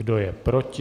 Kdo je proti?